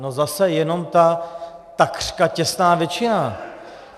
No zase jenom ta takřka těsná většina.